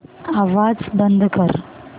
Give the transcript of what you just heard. आवाज बंद कर